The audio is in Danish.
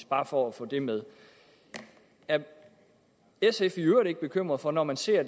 bare for at få det med er sf i øvrigt ikke bekymret for når man ser